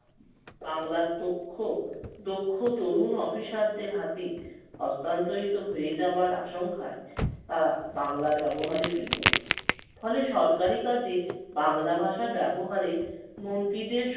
বাংলার তক্ষ~ দক্ষ তরুণ অফিসারদের হাতেই হস্তান্তরিত হয়ে যাওয়ার আশঙ্কায় তারা বাংলায় ব্যবহারে বিমুখ। ফলে সরকারি কাজে বাংলা ভাষা ব্যবহারে মন্ত্রিদের